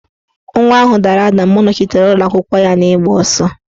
Nwa ahụ dara ada mgbe ọ nọchitere ụlọakwụkwọ ya n'igba ọsọ